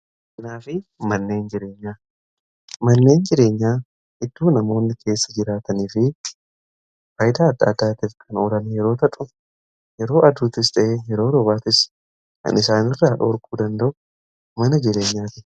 Manneen jireenyaa iddoo namoonni keessa jiraatanii fi faayidaa adda addaatiif kan oolanidha. Yeroo aduuttis ta'e yeroo roobaatti kan isaanirraa dhowwuu danda'u mana jireenyaati.